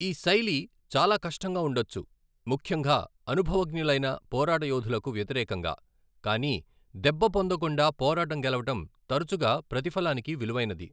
ఈ శైలి చాలా కష్టంగా ఉండొచ్చు, ముఖ్యంగా అనుభవజ్ఞులైన పోరాట యోధులకు వ్యతిరేకంగా, కానీ దెబ్బ పొందకుండా పోరాటం గెలవడం తరచుగా ప్రతిఫలానికి విలువైనది.